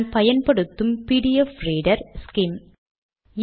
PDF reader மூலம் காண்பது